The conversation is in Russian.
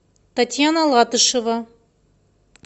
татьяна латышева